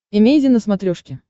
эмейзин на смотрешке